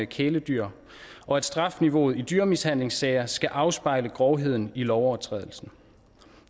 kæledyr og at strafniveauet i dyremishandlingssager skal afspejle grovheden i lovovertrædelsen